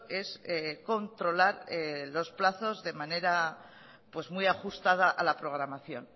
es controlar los plazos de manera muy ajustada a la programación